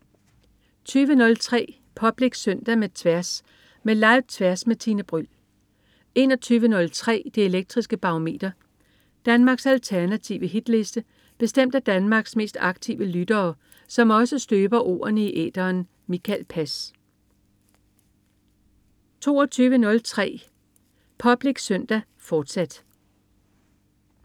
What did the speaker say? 20.03 Public Søndag med Tværs. Med Live-Tværs med Tine Bryld 21.03 Det Elektriske Barometer. Danmarks alternative hitliste bestemt af Danmarks mest aktive lyttere, som også støber ordene i æteren. Mikael Pass 22.03 Public Søndag, fortsat